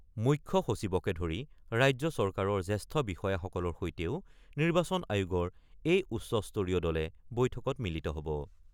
মুখ্য সচিবকে ধৰি ৰাজ্য চৰকাৰৰ জ্যেষ্ঠ বিষয়াসকলৰ সৈতেও নিৰ্বাচন আয়োগৰ এই উচ্চ স্তৰীয় দলে বৈঠকত মিলিত হ'ব।